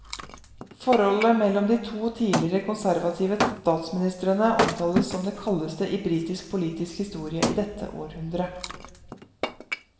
Forholdet mellom de to tidligere konservative statsministrene omtales som det kaldeste i britisk politisk historie i dette århundret.